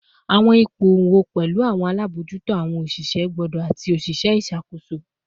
Awọn ipo wọn pẹlu awọn alabojuto, awọn oṣiṣẹ gbode, ati oṣiṣẹ iṣakoso